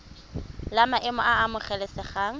la maemo a a amogelesegang